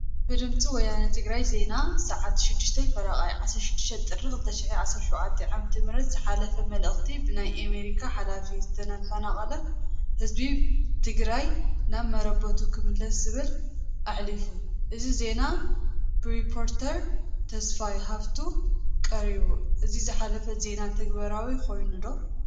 ብድምፂ ወያነ ትግርኛ ዜና ሰዓት 06፡30 16 ጥሪ 2017 ዓ/ም ዝሓለፈ መልእክቲ ብናይ አሜሪካ ሓላፊ ዝተፈናቀለ ህዝቢ ትግራይ ናብ መረበቱ ክምለስ ዝብል አሕሊፉ፡፡ እዚ ዜና ብሪፖርተር ተስፋይ ሃፍቱ ቀሪቡ፡፡ እዚ ዝሓለፈ ዜና ተግባራዊ ኮይኑ ዶ?